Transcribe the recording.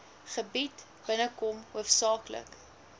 gebied binnekom hoofsaaklik